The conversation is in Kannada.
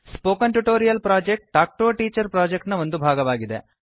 spoken tutorial project talk to a teacher project ನ ಒಂದು ಭಾಗ